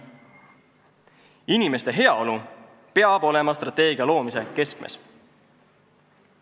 Inimeste heaolu peab olema strateegia loomise keskmes.